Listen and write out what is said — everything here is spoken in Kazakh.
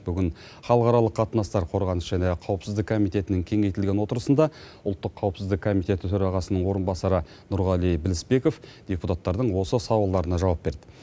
бүгін халықаралық қатынастар қорғаныс және қауіпсіздік комитетінің кеңейтілген отырысында ұлттық қауіпсіздік комитеті төрағасының орынбасары нұрғали білісбеков депутаттардың осы сауалдарына жауап берді